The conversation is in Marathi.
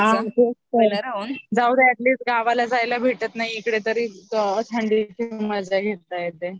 जाऊदे अॅटलिस्ट गावाला जायला भेटत नाही इकडे तरी थंडीची मजा घेता येते